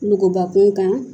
Nuguba kun kan